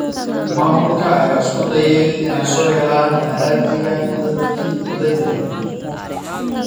Maamulka ayaa isku dayaya in ay soo helaan haraadiga dadkii la dilay.